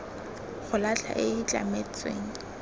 go latlha e e tlametsweng